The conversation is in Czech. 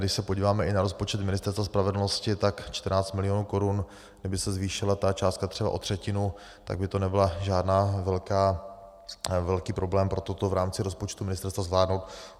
Když se podíváme i na rozpočet Ministerstva spravedlnosti, tak 14 milionů korun, kdyby se zvýšila ta částka třeba o třetinu, tak by to nebyl žádný velký problém pro toto v rámci rozpočtu ministerstva zvládnout.